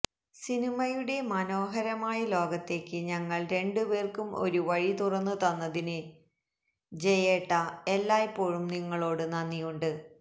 സിനിമയുടെ മനോഹരമായ ലോകത്തേക്ക് ഞങ്ങള് രണ്ടുപേര്ക്കും ഒരു വഴി തുറന്ന് തന്നതിന് ജയേട്ടാ എല്ലായ്പ്പോഴും നിങ്ങളോട് നന്ദിയുണ്ട്